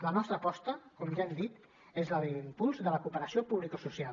la nostra aposta com ja hem dit és la d’impuls de la cooperació publicosocial